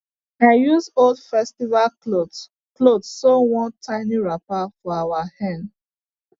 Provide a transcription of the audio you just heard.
i use old festival cloth cloth sew one tiny wrapper for our hen